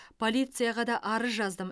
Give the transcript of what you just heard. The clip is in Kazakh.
полицияға да арыз жаздым